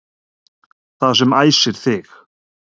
Það sem æsir þig